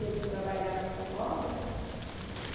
Ele trabalhava com obra.